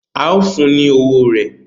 ao fún ni ọwọ rẹ.